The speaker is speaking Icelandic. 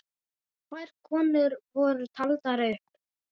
Tvær konur voru taldar upp.